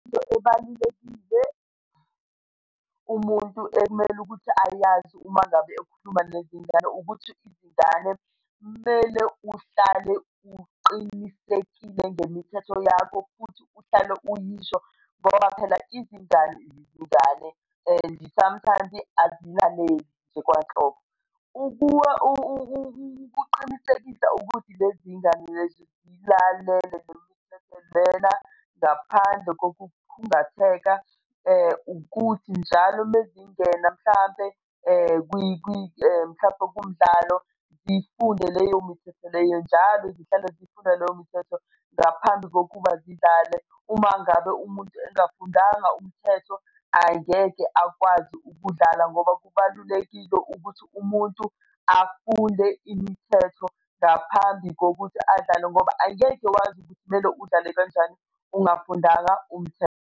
Into ebalulekile umuntu ekumele ukuthi ayazi uma ngabe ukukhuluma nezingane ukuthi izingane kumele uhlale uqinisekile ngemithetho yakho, futhi uhlale uyisho ngoba phela izingane, izingane and sometimes azilaleli nje kwanhlobo. Ukuqinisekisa ukuthi lezi ngane lezi ziyilalele le mithetho lena ngaphandle kokukhungatheka, ukuthi njalo mezingena mhlampe mhlampe kumdlalo, zifunde leyo mithetho leyo njalo zihlale zifunda leyo mithetho, ngaphambi kokuba zidlale. Uma ngabe umuntu engafundanga umthetho angeke akwazi ukudlala ngoba kubalulekile ukuthi umuntu afunde imithetho ngaphambi kokuthi adlale ngoba angeke wazi ukuthi kumele udlale kanjani ungafundanga umthetho.